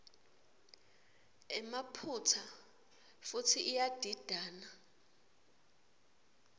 emaphutsa futsi iyadidana